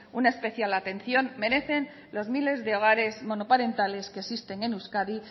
una especial atención merecen los miles de hogares monoparentales que existen en euskadi